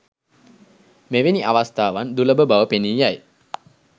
මෙවැනි අවස්‌ථාවන් දුලබ බව පෙනී යයි